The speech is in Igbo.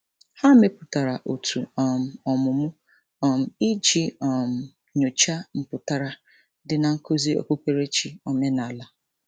Ha mepụtara òtù um ọmụmụ um iji um nyocha mpụtara dị na nkuzi okpukperechi omenala.